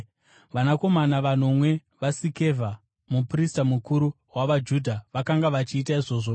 Vanakomana vanomwe vaSikevha muprista mukuru wavaJudha, vakanga vachiita izvozvo.